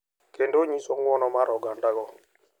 Kendo nyiso ng’wono mar ogandago.